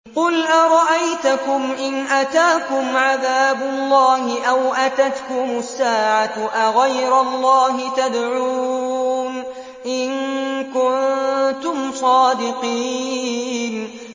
قُلْ أَرَأَيْتَكُمْ إِنْ أَتَاكُمْ عَذَابُ اللَّهِ أَوْ أَتَتْكُمُ السَّاعَةُ أَغَيْرَ اللَّهِ تَدْعُونَ إِن كُنتُمْ صَادِقِينَ